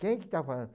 Quem que está falando?